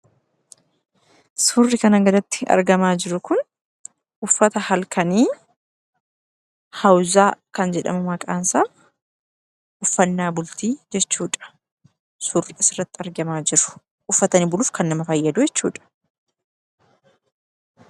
Suurri kanaa gaditti argamaa jiru kun uffata halkanii hawuzaa kan jedhamu maqaansaa uffannaa bultii jechuudha. Suurri asirratti argamu uffatanii buluuf kan nama fayyaduu jechuudha.